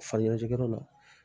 Fani kalajigɛyɔrɔ la